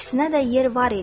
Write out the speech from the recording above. İkisinə də yer var idi.